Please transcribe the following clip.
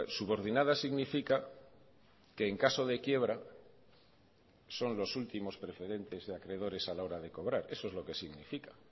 subordinadas significa que en caso de quiebra son los últimos preferentes de acreedores a la hora de cobrar eso es lo que significa